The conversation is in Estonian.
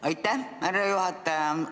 Aitäh, härra juhataja!